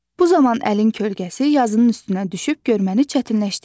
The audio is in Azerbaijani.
Bu zaman əlin kölgəsi yazının üstünə düşüb görməni çətinləşdirmir.